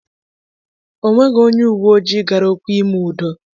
Ọ nweghị onye uwe ojii gara okwu ime udo.